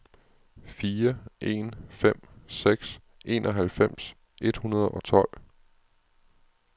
fire en fem seks enoghalvfems et hundrede og tolv